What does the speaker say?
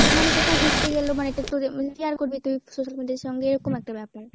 মানে কোথাও ঘুরতে গেলো, এবার এটা তোদের মধ্যে share করবি তুই social media এর সঙ্গে এরকম একটা ব্যাপার।